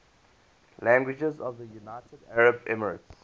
languages of the united arab emirates